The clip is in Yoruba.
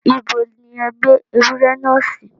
Ibo ní ẹ gbé ewúrẹ́ náà sí?